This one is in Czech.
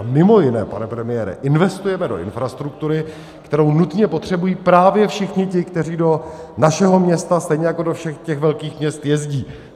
A mimo jiné, pane premiére, investujeme do infrastruktury, kterou nutně potřebují právě všichni ti, kteří do našeho města, stejně jako do všech těch velkých měst, jezdí.